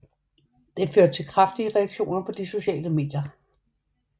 Det førte til kraftige reaktioner på de sociale medier